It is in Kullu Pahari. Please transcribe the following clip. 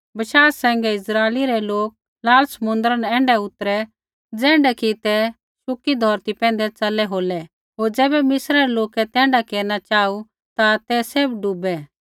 बशाह सैंघै इस्राइली रै लोक लाल समुन्द्रा न ऐण्ढै उतरै ज़ैण्ढा कि ते शुकी धौरती पैंधै च़लै होलै होर ज़ैबै मिस्रै रै लोकै तैण्ढा केरना चाहू ता तै सैभ डूबै